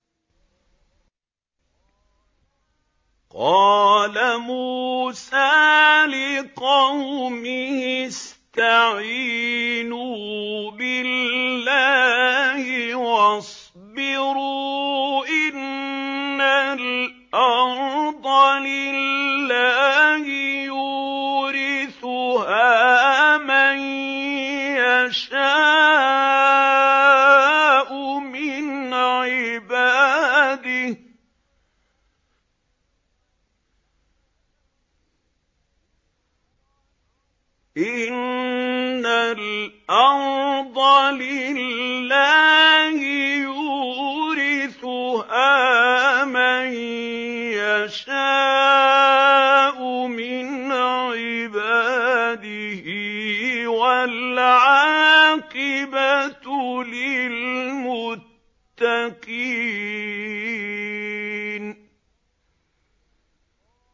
قَالَ مُوسَىٰ لِقَوْمِهِ اسْتَعِينُوا بِاللَّهِ وَاصْبِرُوا ۖ إِنَّ الْأَرْضَ لِلَّهِ يُورِثُهَا مَن يَشَاءُ مِنْ عِبَادِهِ ۖ وَالْعَاقِبَةُ لِلْمُتَّقِينَ